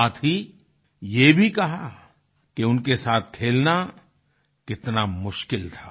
साथ ही ये भी कहा कि उनके साथ खेलना कितना मुश्किल था